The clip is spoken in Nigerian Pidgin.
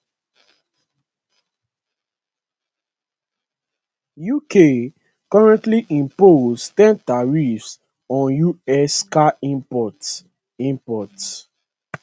uk currently impose ten tariff on us car imports imports